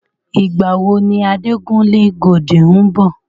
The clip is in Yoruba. Ìgbà wo ni Adekunle Gold ń bọ̀?